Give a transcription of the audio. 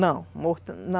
Não, morto